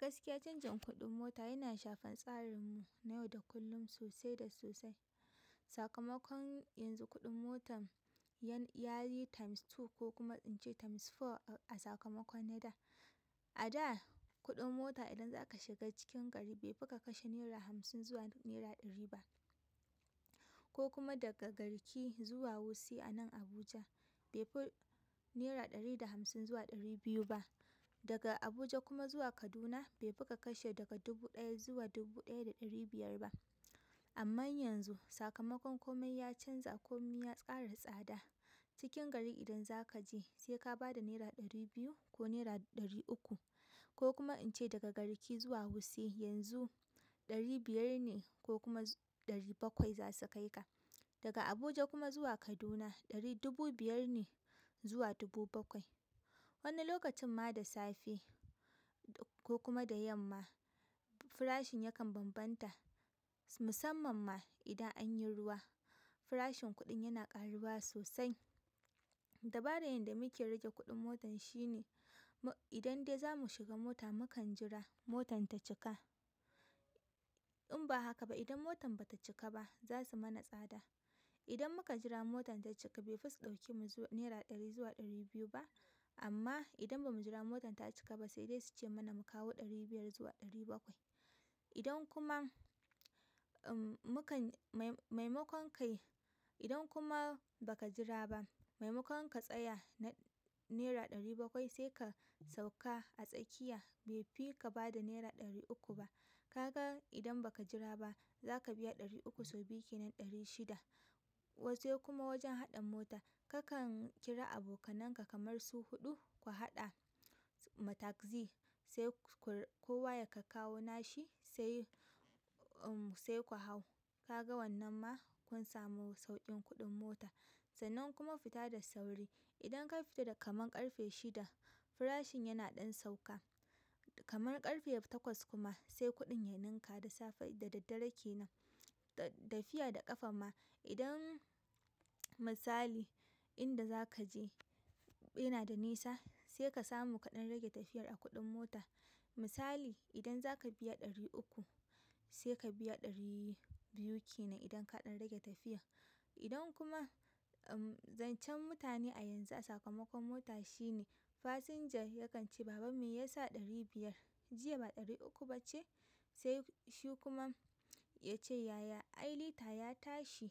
Gaskiya canjin kuɗin mota yana shafar tsarin mu na yau da kullum sosai da sosai. Sakamakon yanzu kuɗin motan yayi times two ko kuma in ce times four a sakamakon na da. A da kuɗin mota idan za ka shiga cikin gari bai fi ka kashe naira hamsin zuwa naira ɗari ba. Ko kuma daga garki zuwa wuse a nan Abuja bai fi naira ɗari da hamsin zuwa ɗari biyu ba. Daga Abuja kuma zuwa Kaduna bai fi ka kashe daga dubu ɗaya zuwa dubu ɗaya da ɗari biyar ba. Amma yanzu sakamakon komai ya canza komai ya ƙara tsada. Cikin gari idan za ka je sai ka ba da naira ɗari biyu ko naira ɗari uku ko kuma in ce daga garki zuwa wuse yanzu ɗari biyar ne ko kuma ɗari bakwai za su kai ka. Daga Abuja kuma zuwa Kaduna ɗari dubu biyar ne zuwa dubu bakwai. Wani lokacin ma da safe ko kuma da yamma farashin yakan bambanta musamman ma idan anyi ruwa farashin kuɗin yana ƙaruwa sosai. Dabara yanda muke rage kuɗin motar shine idan dai zamu shiga mota mukan jira motan ta cika. In ba haka ba idan motan bata cika ba za su mana tsada. Idan muka jira motan ta cika bai fi su ɗauke mu zuwa naira ɗari zuwa ɗari biyu ba amma idan ba mu jira motan ta cika ba sai dai su ce mana mu kawo ɗari biyar zuwa ɗari bakwai. Idan kuma, mukan, maimakon kai, idan kuma ba ka jira ba maimakon ka tsaya naira ɗari bakwai sai ka sauka a tsakiya bai fi ka ba da naira ɗari uku ba. Ka ga idan ba ka jira ba za ka biya ɗari uku sau biyu kenan ɗari shida. Sai kuma wajen haɗa mota kakan kira abokananka kamar su huɗu ku haɗa ma taxi sai kowa ya kakkawo nashi sai, sai ku hau. Ka ga wannan ma kun samu sauƙin kuɗin mota sannan kuma fita da sauri. Idan ka fita da kamar ƙarfe shida farashin yana ɗan sauka. Kamar ƙarfe takwas kuma sai kuɗin ya ninka da safe da daddare kenan. Da tafiya da ƙafa ma idan misali inda za ka je yana da nisa sai ka samu kaɗan rage tafiyar a kuɗin mota. Misali idan za ka biya ɗari uku sai ka biya ɗari biyu kenan idan kaɗan rage tafiyar. Idan kuma, umm, zancen mutane a yanzu a sakamakon mota shine fasinja yakan ce "baban mai ya sa ɗari biya jiya ba ɗari uku bace?" Sai shi kuma ya ce "yaya? Ai lita ya tashi".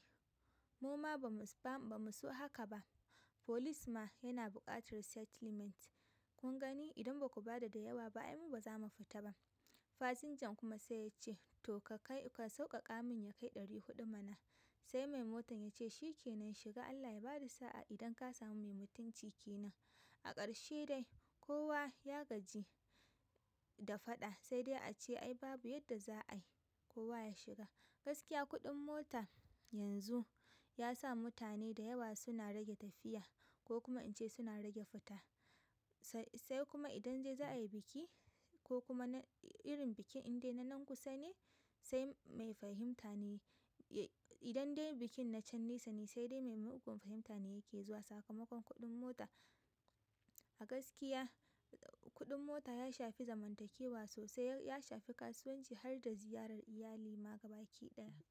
Muma ba mu, ba ba mu so haka ba. Folis ma yana buƙatar settlement. Kun gani idan baku ba da da yawa ba ai mu baza mu fita ba. Fasinjan kuma sai ya ce "to ka kai, ka sauƙaƙa min ya kai ɗari huɗu mana". Sai mai motan ya ce "shi kenan shiga Allah ya ba da sa'a idan ka samu mai mutunci kenan". A ƙarshe dai kowa ya gaji da faɗa sai dai a ce ai babu yadda za a yi kowa ya shiga. Gaskiya kuɗin mota yanzu ya sa mutane da yawa suna rage tafiya ko kuma in ce suna rage fita. Sai sai kuma idan dai za a yi biki ko kuma irin bikin indai na nan kusa ne sai mai fahimta ne. Idan dai bikin na can nesa ne sai dai mai mugun fahimta ne yake zuwa sakamakon kuɗin mota. A gaskiya kuɗin mota ya shafi zamantakewa sosai ya shafi kasuwanci har da ziyarar iyali ma gabakiɗaya.